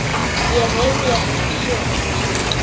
Ég rifja upp sögur.